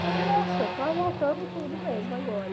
Falei, nossa, tudo mesmo agora.